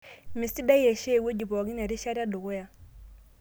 Mesidai aishoo ewueji pookin erishata edukuya.